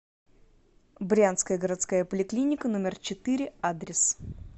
брянская городская поликлиника номер четыре адрес